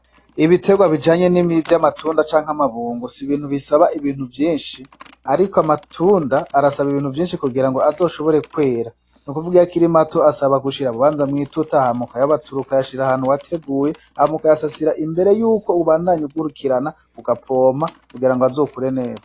Ibiterwa bijanye nivy'amatunda cank'amabungo sibintu bisaba ibintu vyinshi, ariko amatunda arasaba ibintu vyinshi kugirango azoshobore kwera ,n'ukuvuga bisaba kubanza mwituta ,hama ukayabatura ukayashir 'ahantu wateguye hama, ugasasira imbere yuko umbandanya ukurikirana ugapompa kugirango azokure neza.